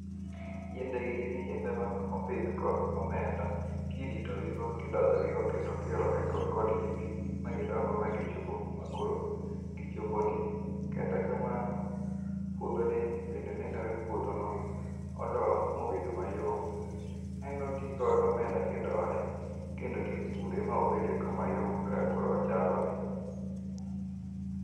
Yiendegi gin yiende manopidh kod omenda kiritogigo, kidoyogigo kendo kiolonekodgi pi magidongo ma gichopo kuma koro gichoponie. Kata kamano puodhoni bende nenore puodho ma odo mobedo mayom. En oti kod omenda kidoye kendo kipure ma obedo eko mayom kaka koro ochaloni.